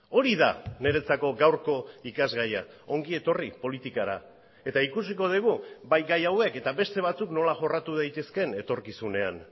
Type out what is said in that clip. hori da niretzako gaurko ikasgaia ongi etorri politikara eta ikusiko dugu bai gai hauek eta beste batzuk nola jorratu daitezkeen etorkizunean